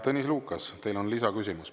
Tõnis Lukas, teil on lisaküsimus.